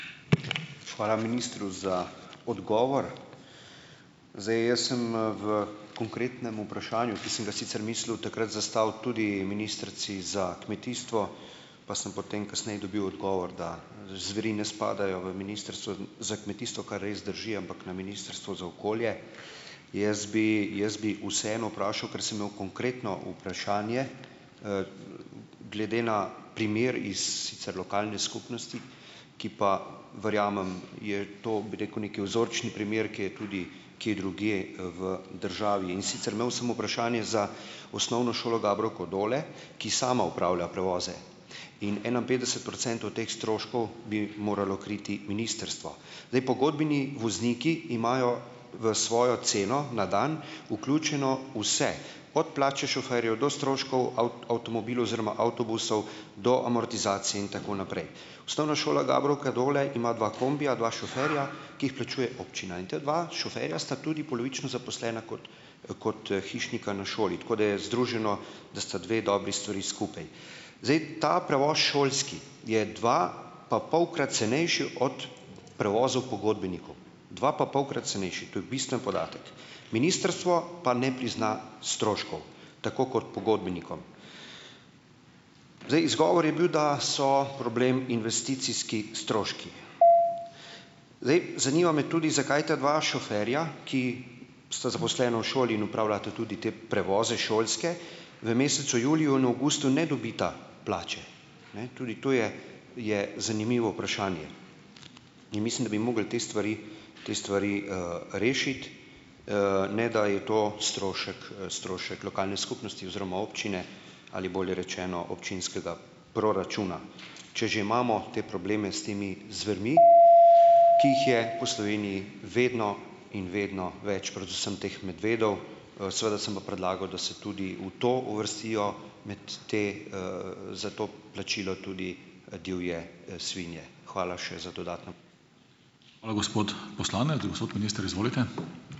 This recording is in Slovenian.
Hvala ministru za odgovor. Zdaj jaz sem, v konkretnem vprašanju, ki sem ga sicer mislil takrat zastaviti tudi ministrici za kmetijstvo, pa sem potem kasneje dobil odgovor, da zveri ne spadajo v Ministrstvo za kmetijstvo, kar res drži, ampak na Ministrstvo za okolje, jaz bi jaz bi vseeno vprašal, ker sem imel konkretno vprašanje, glede na primer iz sicer lokalne skupnosti, ki pa, verjamem, je to, bi rekel, neki vzorčni primer, ki je tudi kje drugje, v državi. In sicer imel sem vprašanje za Osnovno šolo Gabrovko - Dole, ki sama opravlja prevoze. In enainpetdeset procentov teh stroškov bi moralo kriti ministrstvo. Zdaj, pogodbeni vozniki imajo v svojo ceno na dan vključeno vse, od plače šoferjev, do stroškov avtomobilov oziroma avtobusov, do amortizacije in tako naprej. Osnovna šola Gabrovka - Dole ima dva kombija, dva šoferja, ki jih plačuje občina. In ta dva šoferja sta tudi polovično zaposlena kot kot hišnika na šoli. Tako da je združeno, da sta dve dobri stvari skupaj. Zdaj ta prevoz šolski je dvapapolkrat cenejši od prevozov pogodbenikov. Dvapapolkrat cenejši, to je bistven podatek. Ministrstvo pa ne prizna stroškov, tako kot pogodbenikom. Zdaj, izgovor je bil, da so problem investicijski stroški. Zdaj, zanima me tudi, zakaj ta dva šoferja, ki sta zaposlena v šoli in opravljata tudi te prevoze šolske, v mesecu juliju in avgustu ne dobita plače. Ne, tudi to je je zanimivo vprašanje. In mislim, da bi mogli te stvari te stvari, rešiti, ne, da je to strošek, strošek lokalne skupnosti oziroma občine ali bolje rečeno občinskega proračuna. Če že imamo te probleme s temi zvermi, v Sloveniji vedno in vedno več, predvsem teh medvedov. seveda sem pa predlagal da se tudi v to uvrstijo, med te, za to plačilo tudi, divje, svinje. Hvala še za dodatno.